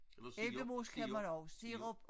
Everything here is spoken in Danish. Eller sirup sirup sirup